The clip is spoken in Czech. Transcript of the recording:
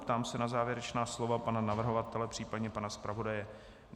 Ptám se na závěrečná slova pana navrhovatele, případně pana zpravodaje.